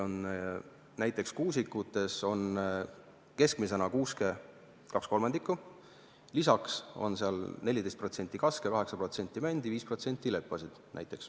Näiteks kuusikutes on meil kuuske keskmiselt 2/3, lisaks on seal 14% kaske, 8% mändi ja 5% leppi.